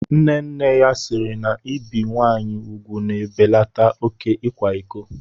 Nne nne ya siiri na ibi nwaanyị ugwu na-ebelata oké ịkwa iko.